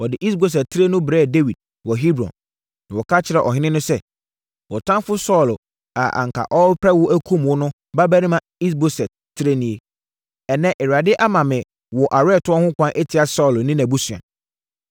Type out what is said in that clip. Wɔde Is-Boset tire no brɛɛ Dawid wɔ Hebron, na wɔka kyerɛɛ ɔhene no sɛ, “Wo ɔtamfoɔ Saulo a anka ɔrepɛ wo akum wo no babarima Is-Boset tire nie. Ɛnnɛ, Awurade ama me wo aweretɔ ho kwan atia Saulo ne nʼabusua.”